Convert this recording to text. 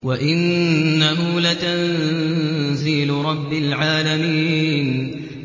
وَإِنَّهُ لَتَنزِيلُ رَبِّ الْعَالَمِينَ